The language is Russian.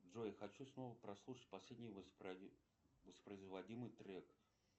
джой хочу снова послушать последний воспроизводимый трек